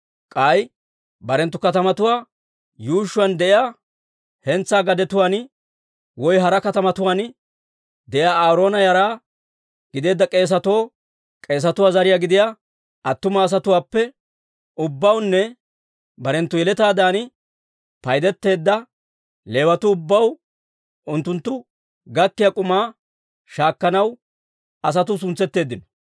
K'ay barenttu katamatuwaa yuushshuwaan de'iyaa hentsaa gadetuwaan woy hara katamatuwaan de'iyaa Aaroona yara gideedda k'eesatoo, k'eesatuwaa zariyaa gidiyaa attuma asatuwaappe ubbawunne barenttu yeletaadan paydeteedda Leewatuu ubbaw unttunttu gakkiyaa k'umaa shaakkanaw asatuu suntsetteeddino.